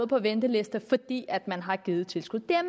på ventelisten fordi man har givet tilskud det er